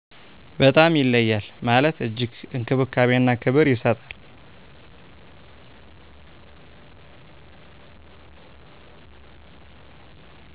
በጣም ይለያል ማለት እጅግ እንክብካቤና ክብር ይሠጣል።